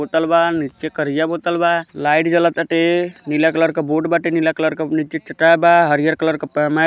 बोतल बा नीचे करिया बोतल बा लाइट जळताटे नीला कलर के बोड बाटे नीला कलर चटाई बा हरिहर कलर के --